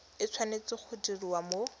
e tshwanetse go diriwa mo